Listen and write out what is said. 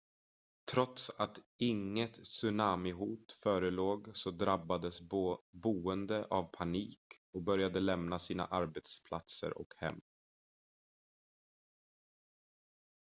trots att inget tsunamihot förelåg så drabbades boende av panik och började lämna sina arbetsplatser och hem